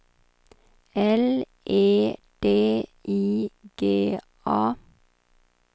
L E D I G A